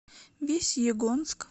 весьегонск